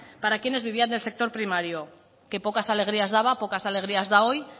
para quienes vivían en el sector primario que pocas alegrías daba pocas alegrías da hoy